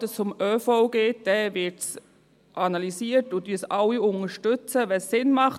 Sobald es um ÖV geht, wird es analysiert und alle unterstützen es, wenn es Sinn macht.